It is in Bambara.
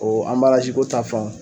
ko ta fan